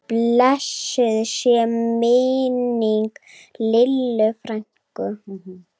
Blessuð sé minning Lillu frænku.